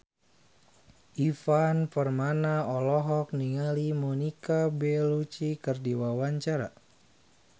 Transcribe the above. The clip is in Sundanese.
Ivan Permana olohok ningali Monica Belluci keur diwawancara